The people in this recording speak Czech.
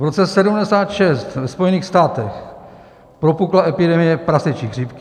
V roce 1976 ve Spojených státech propukla epidemie prasečí chřipky.